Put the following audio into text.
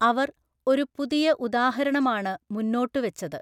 അവര്‍ ഒരു പുതിയ ഉദാഹരണമാണ് മുന്നോട്ടുവച്ചത്.